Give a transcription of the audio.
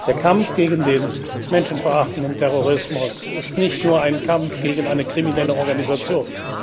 Der Kampf gegen den menschenverachtenden Terrorismus ist nicht nur ein Kampf gegen eine kriminelle Organisation.